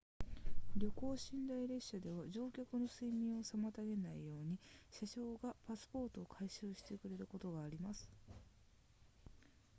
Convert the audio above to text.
夜行寝台列車では乗客の睡眠を妨げないように車掌がパスポートを回収してくれることがあります